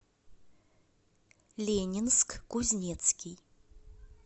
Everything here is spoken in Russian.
ленинск кузнецкий